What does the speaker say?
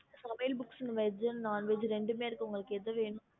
சமையல் veg non veg ரெண்டுமே இருக்கு உங்களுக்கு என்ன வேணும் ரெண்டுமே வேணும்